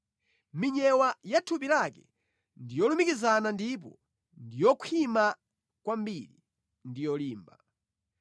Minyewa ya thupi lake ndi yolumikizana ndipo ndi yokhwima kwambiri ndi yolimba.